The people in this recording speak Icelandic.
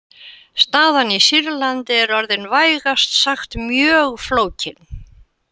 Staðan í Sýrlandi er orðin vægast sagt mjög flókin.